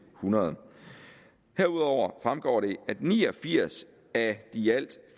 hundrede herudover fremgår det at ni og firs af de i alt